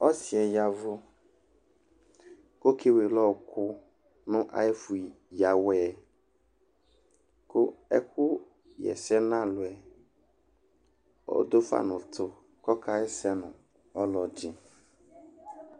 Ɔsɩ ya ɛvʋ kʋ ɔkewele ɔɣɔkʋ nʋ ayʋ ɛfʋ yǝ awɛ yɛ kʋ ɛkʋɣa ɛsɛ nʋ alʋ yɛ ɔdʋ fa nʋ ʋtʋ kʋ ɔkaɣa ɛsɛ nʋ ɔlɔdɩ